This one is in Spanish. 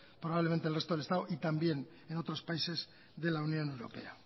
probablemente del resto del estado y también en otros países de la unión europea